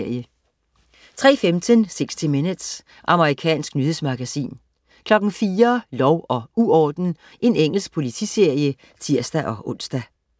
03.15 60 minutes. Amerikansk nyhedsmagasin 04.00 Lov og uorden. Engelsk politiserie (tirs-ons)